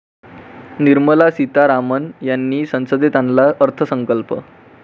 निर्मला सीतारामन यांनी संसदेत आणला अर्थसंकल्प